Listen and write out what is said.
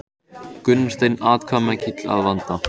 Gunnar Steinn atkvæðamikill að vanda